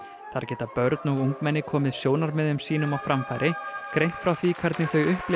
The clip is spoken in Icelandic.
þar geta börn og ungmenni komið sjónarmiðum sínum á framfæri greint frá því hvernig þau upplifa